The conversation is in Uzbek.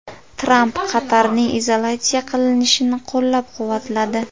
Tramp Qatarning izolyatsiya qilinishini qo‘llab-quvvatladi.